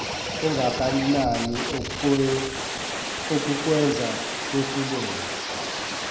ungakanani okukwenza wehluleke